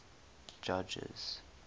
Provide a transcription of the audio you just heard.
judges